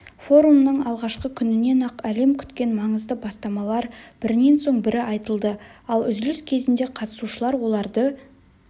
форумның алғашқы күнінен-ақ әлем күткен маңызды бастамалар бірінен соң бірі айтылды ал үзіліс кезінде қатысушылар оларды